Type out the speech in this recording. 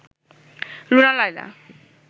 Runa Laila